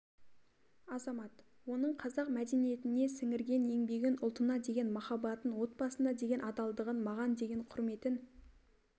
азамат оның қазақ мәдениетіне сіңірген еңбегін ұлтына деген махаббатын отбасына деген адалдығын маған деген құрметін